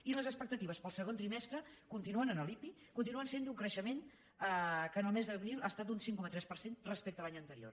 i les expectatives per al segon trimestre en l’ipi continuen sent d’un creixement que el mes d’abril ha estat d’un cinc coma tres per cent respecte a l’any anterior